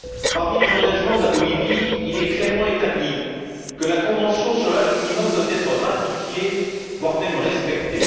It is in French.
Parmi les engagements de la Bolivie, il est clairement établi que la convention sur l'âge minimum doit être ratifiée, voire même respectée.